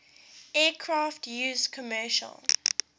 aircraft used commercial